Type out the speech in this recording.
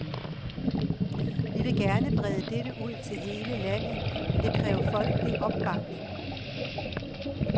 Vi vil gerne brede dette ud til hele landet, men det kræver folkelig opbakning.